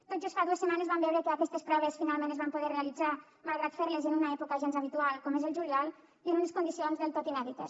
tot just fa dues setmanes vam veure que aquestes proves finalment es van poder realitzar malgrat fer les en una època gens habitual com és el juliol i en unes condicions del tot inèdites